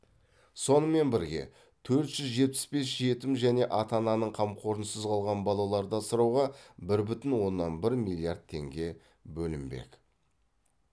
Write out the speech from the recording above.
сонымен бірге төрт жүз жетпіс бес жетім және ата ананың қамқорынсыз қалған балаларды асырауға бір бүтін оннан бір миллиард теңге бөлінбек